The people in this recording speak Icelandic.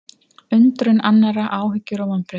Undrun annarra, áhyggjur og vonbrigði